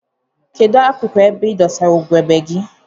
Kedu akuku ebe idosara ugegbe gi?